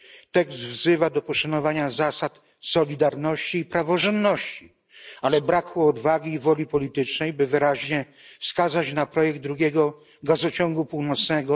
Tekst wzywa do poszanowania zasad solidarności i praworządności, ale brakło odwagi i woli politycznej, by wyraźnie wskazać na projekt drugiego Gazociągu Północnego.